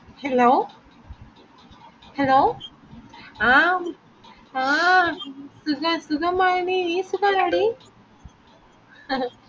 hello hello ആം ആ സുഖ സുഖമാണി സുഖണോടി അഹ്